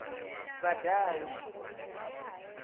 vhadau